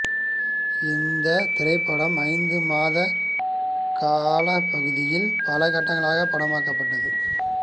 இந்த திரைப்படம் ஐந்து மாத காலப்பகுதியில் பல கட்டங்களாக படமாக்கப்பட்டது